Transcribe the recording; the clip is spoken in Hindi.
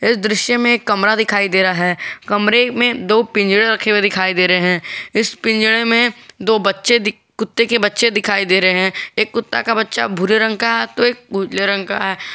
इस दृश्य में एक कमरा दिखाई दे रहा है कमरे में दो पिंजरे रखे हुए दिखाई दे रहे हैं इस पिंजरे में दो बच्चे कुत्ते के बच्चे दिखाई दे रहे हैं एक कुत्ता का बच्चा भूरे रंग का तो एक उजले रंग का है।